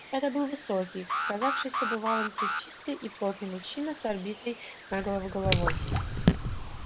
это был высокий казавшийся бывалым плечистый и плотный мужчина с обритой наголо головой